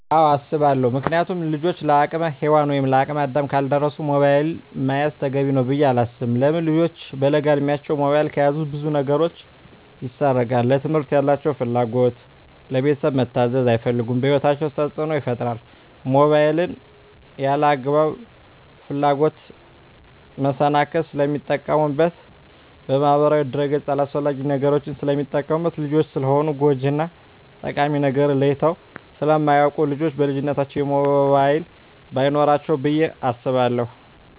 አወ አሰባለው ምክንያቱም ልጆች ለአቅመ ሄዋን ወይም ለአቅመ አዳም ካልደረሱ ሞባይል መያዝ ተገቢ ነው ብዬ አላስብም። ለምን ልጆች በለጋ እድማቸው ሞባይል ከያዙ ብዙ ነገራቸው ይሰረቃል ለትምህርት ያላቸው ፍላጎት, ለቤተሰብ መታዘዝ አይፈልጉም በህይወታቸው ተፅዕኖ ይፈጥራል ሞባይልን ለአላግባብ ፍላጎት መሰናክል ስለሚጠቀሙበት በማህበራዊ ድረ-ገፅ አላስፈላጊ ነገሮች ስለሚጠቀሙበት። ልጆች ስለሆኑ ጎጅ እና ጠቃሚ ነገርን ለይተው ስለማያወቁ ልጆች በልጅነታቸው ሞባይል በይኖራቸው ብዬ አስባለሁ።